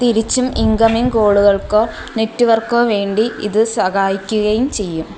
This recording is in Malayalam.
തികച്ചും ഇൻകമിങ് കാൾ കൾക്കോ നെറ്റ്വർക്കോ വേണ്ടി ഇത് സഹായിക്കുകയും ചെയ്യും.